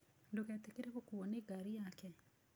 Ndũgetĩkĩre gũkuuo nĩ ngari yake.